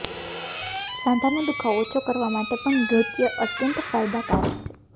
સાંધાનો દુખાવો ઓછો કરવા માટે પણ નૃત્ય અત્યંત ફાયદાકારક છે